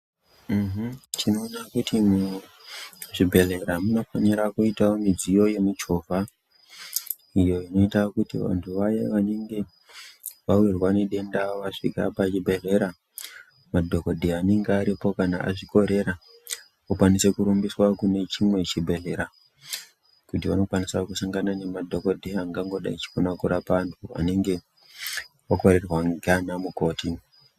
Tinoda kuti muzvibhedhleya munofanira kuita midziyo yemichovha kuitira kuti vaya vanenge vawirwa nedenda vasvika pachibhedhleya madhokodheya anenge aripo kana azvikorera okwanisa kurumbiswa kune chimwe chibhedhleya kuti vanokwanisa kusangana nemadhokodheya angangodai achikona kurapa antu anenge akorerwa nganamukoti.